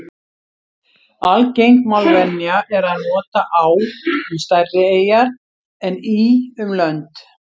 Algeng málvenja er að nota á um stærri eyjar en í um lönd.